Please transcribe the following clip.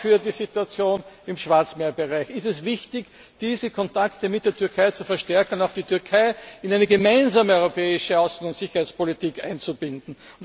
Aber auch für die Situation im Schwarzmeerbereich ist es wichtig, die Kontakte zur Türkei zu verstärken und die Türkei auch in eine gemeinsame europäische Außen und Sicherheitspolitik einzubinden.